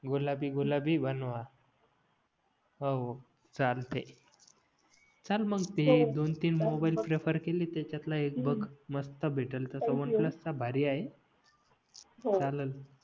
गुलाबी गुलाबी बनवा हो चालते चाल मग ते दोन तीन मोबाईल प्रेफर केले त्याच्यात ला एक बघ मस्त भेटलं भारी आहे चाललं